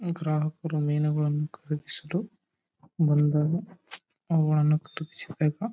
ಗ್ರಾಹಕರು ಮೀನುಗಳನ್ನು ಖರೀದಿಸಲು ಬಂದಾಗ ಅವುಗಳನ್ನು ತೂಗಿಸಿ ಬೇಗ--